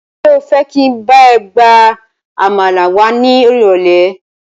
Ṣé o fẹ́ jẹ́ kí n bá ẹ gba àmàlà wá ni irole?